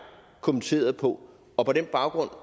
kommenterede på og på den baggrund